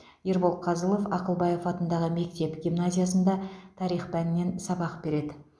ербол қазылов ақылбаев атындағы мектеп гимназиясында тарих пәнінен сабақ береді